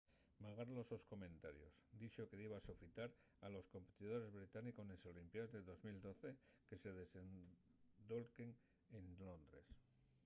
magar los sos comentarios dixo que diba sofitar a los competidores británicos nes olimpiaes de 2012 que se desendolquen en londres